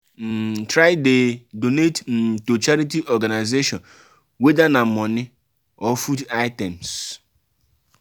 um try de donate um to charity organisation whether na money or food items